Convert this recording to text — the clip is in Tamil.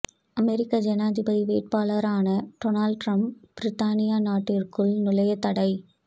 அமெரிக்க ஜனாதிபதி வேட்பாளரான டோனால்ட் ட்ரம்ப் பிரித்தானியா நாட்டிற்குள் நுழைய தடை